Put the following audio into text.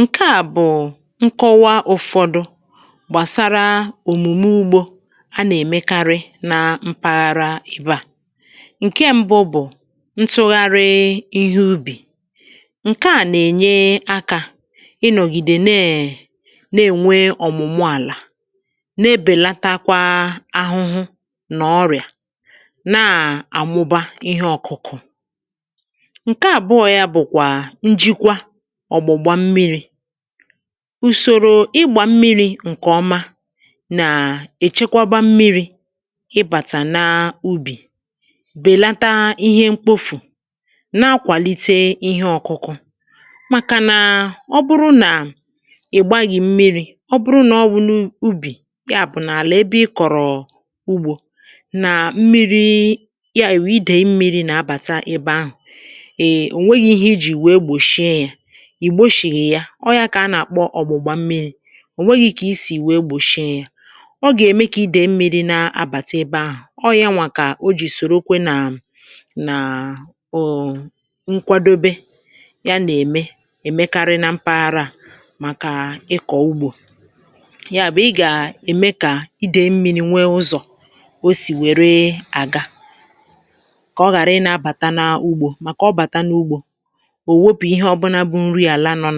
Nke à bụ̀ nkọwa ụ̀fọdụ gbàsara òmùme ugbȯ a nà-èmekarị nà mpaghara ebe à. Nke ṁbụ bụ̀ ntụgharị ihe ubì, ǹke à nà-ènye akȧ ịnọ̀gìdè na è na-ènwe ọ̀mụ̀mụ àlà, na-ebèlatakwa ahụhụ nà ọrị̀à, na-àmụba ihe ọ̀kụkụ. Nke àbuo yà bụkwa njikwà ọ̀gbugbȧ mmiri̇; ùsòrò ịgbà mmiri̇ ǹkè ọma nà èchekwa ba mmiri̇ ịbàtà n’ubì, bèlata ihe mkpofù, n’akwàlite ihe ọ̀kụkụ ;màkà nà ọ bụrụ nà ị̀gbaghì mmiri̇ ọ bụrụ nà ọ wụ n’ubì yà bụ̀ nà àlà ebe ị kọ̀rọ̀ ugbȯ, nà mmiri̇ yà èwù idèi mmiri̇ nà-abàta ebe ahụ̀[Um] o nwẹ̀ghị ihe iji wèe gbòshie yà, ì gbòshìghi ya; ọ̀ ya kà a nà-àkpọ ọ̀gbụ̀gbà mmiri̇ ò nweghi̇ gị̇ isì wee gbòshie yà. Ọ gà-ème kà idèi mmiri̇ na-abàta ebe ahụ̀ ọọ̇ ya nwà kà o jì sòrokwe nà ǹàà um nkwadobe ya nà-ème èmekarị na mpaghara à màkà ịkọ̀ ugbȯ. Ya bụ̀ ị gà-ème kà idèi mmiri̇ nwee ụzọ̀ o sì wère àga kà ọ ghàrị i na-abàta n’ugbȯ. Màkà ọ bàta n’ugbȯ owèpù ihe ọ̀bulà bụ nrị àlà nọ